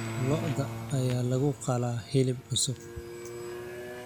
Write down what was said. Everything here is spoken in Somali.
Lo'da ayaa lagu qalaa hilib cusub.